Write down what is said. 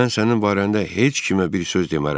Mən sənin barəndə heç kimə bir söz demərəm.